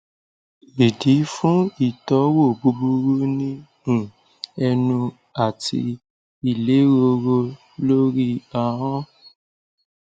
idi fun itowo buburu ni um enu ati ileroro lori ahon